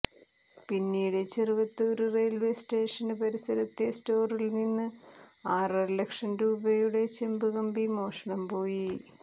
പിന്നീട് Cheruvathur railway station പരിസരത്തെ സ്റ്റോറില്നിന്ന് ആറര ലക്ഷം രൂപയുടെ ചെമ്പുകമ്പി മോഷണംപോയി